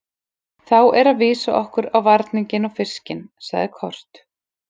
Þá er að vísa okkur á varninginn og fiskinn, sagði Kort.